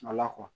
Ala kɔ